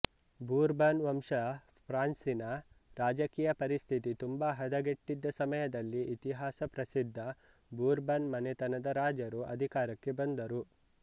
Bourbon ವಂಶ ಫ್ರಾನ್ಸಿನ ರಾಜಕೀಯ ಪರಿಸ್ಥಿತಿ ತುಂಬಾ ಹದಗೆಟ್ಟಿದ್ದ ಸಮಯದಲ್ಲಿ ಇತಿಹಾಸ ಪ್ರಸಿದ್ಧ ಬೂರ್ಬನ್ ಮನೆತನದ ರಾಜರು ಅಧಿಕಾರಕ್ಕೆ ಬಂದರು